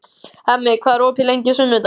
Hemmi, hvað er opið lengi á sunnudaginn?